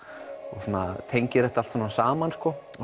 og tengir þetta allt svona saman